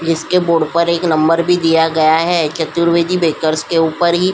जिसके बोर्ड पर एक नंबर भी दिया गया है। चतुर्वेदी बेकर्स के ऊपर ही --